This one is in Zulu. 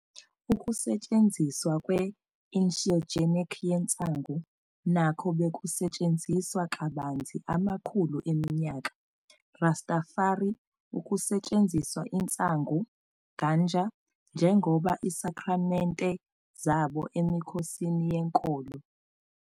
Ukusetshenziswa kwe-insheogenic yensangu nakho bekusetshenziswa kabanzi amakhulu eminyaka. Rastafari ukusetshenziswa insangu, Ganja, njengoba isakramente e zabo emikhosini yenkolo.